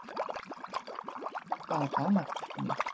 Það var dánartilkynning.